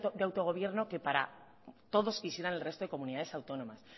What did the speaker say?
de autogobierno que para todos quisieran el resto de comunidades autónomas